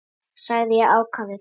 sagði ég ákafur.